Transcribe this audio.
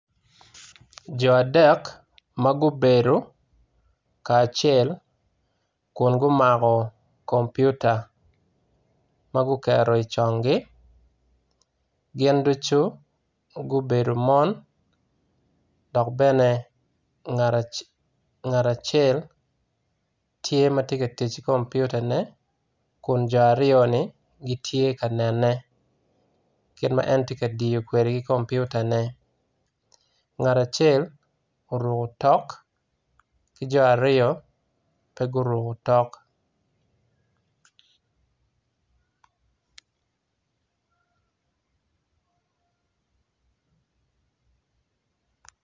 Jo adek ma gubedo kacel kun gumako kompiuta ma guketo i congi. Gin ducu gubedo mon. Dok bene ngat acel tye ka tic ki kompiutane kun jo aryo-ni gitye ka nenen kit ma en tye ka diyo kwedr komputane ngat acel oruko otok ki jo aryo pe guruko otok.